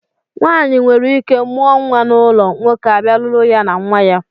Nwaanyị nwereike mụọ nnwa n'ụlọ, nwoke abịa lụrụ ya na nnwa ya